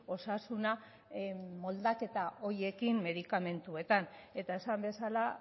osasuna moldaketa horiekin medikamentuetan eta esan bezala